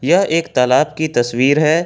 यह एक तालाब की तस्वीर है।